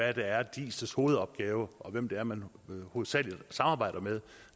er der er diis hovedopgave og hvem det er man hovedsagelig samarbejder med